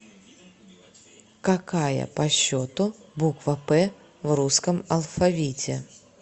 какая по счету буква п в русском алфавите